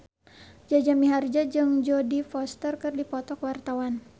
Jaja Mihardja jeung Jodie Foster keur dipoto ku wartawan